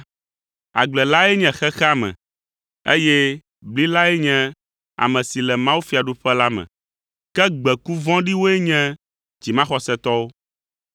Agble lae nye xexea me, eye bli lae nye ame si le mawufiaɖuƒe la me, ke gbeku vɔ̃ɖiwoe nye dzimaxɔsetɔwo.